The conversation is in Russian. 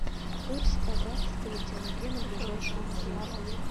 курс казахского тенге на ближайшую неделю